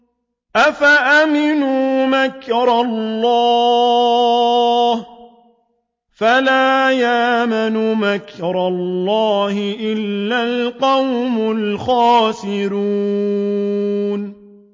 أَفَأَمِنُوا مَكْرَ اللَّهِ ۚ فَلَا يَأْمَنُ مَكْرَ اللَّهِ إِلَّا الْقَوْمُ الْخَاسِرُونَ